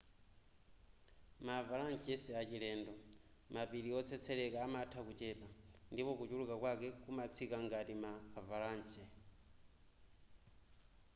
ma avalanche siachilendo mapiri otsetseleka amatha kuchepa ndipo kuchuluka kwake kumatsika ngati ma avalanche